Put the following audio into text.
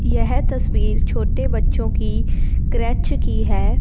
यह तस्वीर छोटे बच्चों की की है।